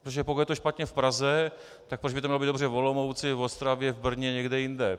Protože pokud je to špatně v Praze, tak proč by to mělo být dobře v Olomouci, v Ostravě, v Brně, někde jinde?